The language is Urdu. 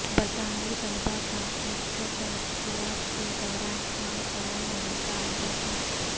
برطانوی طلبا کا ایسٹر تعطیلات کے دوران شام فرار ہونے کا اندیشہ